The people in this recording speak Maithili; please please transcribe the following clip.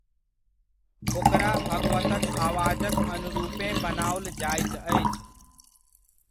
ओकरा भगवतक आवाजक अनुरूपेँ बनाओल जाइत अछि।